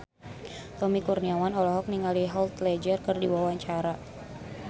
Tommy Kurniawan olohok ningali Heath Ledger keur diwawancara